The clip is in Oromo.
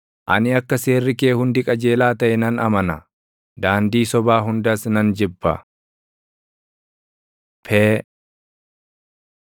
ani akka seerri kee hundi qajeelaa taʼe nan amana; daandii sobaa hundas nan jibba. פ Pee